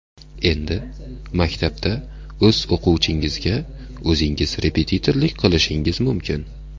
Endi maktabda o‘z o‘quvchingizga o‘zingiz repetitorlik qilishingiz mumkin!